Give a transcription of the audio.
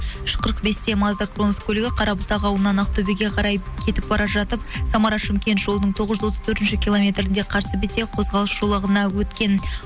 үш қырық бесте мазда кронус көлігі қарабұтақ ауылынан ақтөбеге қарай кетіп бара жатып самара шымкент жолының тоғыз жүз отыз төртінші километрінде қарсы бетке қозғалыс жолағына өткен